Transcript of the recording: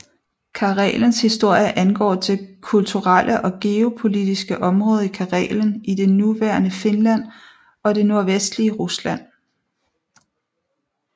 Karelens historie angår det kulturelle og geopolitiske område Karelen i det nuværende Finland og det nordvestlige Rusland